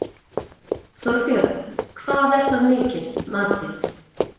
Þorbjörn: Hvað er það mikið, matið?